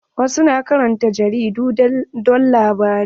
Wasu na karanta jaridu don labarai.